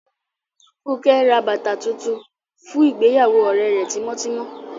Funke n rá bátà tuntun fún ìgbèyàwó òrẹ rẹ̀ tímọtímọ